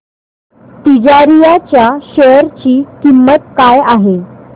तिजारिया च्या शेअर ची किंमत काय आहे